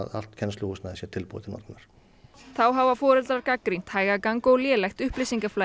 allt kennsluhúsnæði sé tilbúið til notkunar þá hafa foreldrar gagnrýnt hægagang og lélegt upplýsingaflæði